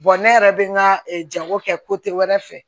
ne yɛrɛ bɛ n ka jago kɛ wɛrɛ fɛ